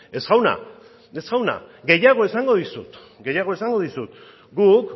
ez jauna gehiago esango dizut guk